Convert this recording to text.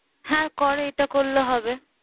হ্যাঁ কর, এটা করলে হবে।